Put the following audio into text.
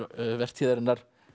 vertíðarinnar